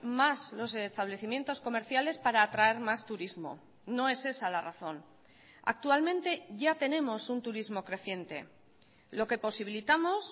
más los establecimientos comerciales para atraer más turismo no es esa la razón actualmente ya tenemos un turismo creciente lo que posibilitamos